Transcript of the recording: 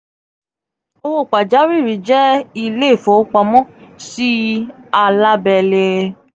owo pajawiri jẹ ile ifowopamo si alabele